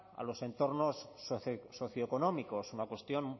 a los entornos socioeconómicos es una cuestión